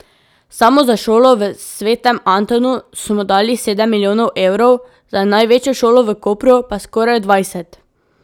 Samo za šolo v Svetem Antonu smo dali sedem milijonov evrov, za največjo šolo v Kopru pa skoraj dvajset.